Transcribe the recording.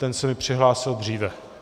Ten se mi přihlásil dříve.